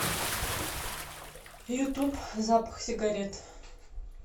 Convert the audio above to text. ютуб запахсигарет